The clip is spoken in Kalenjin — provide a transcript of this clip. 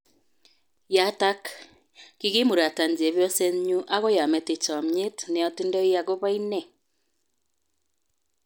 Yaatak: Kigiimuratan chebyostnyu amgoi amete chamyet ne atindoi akobo ine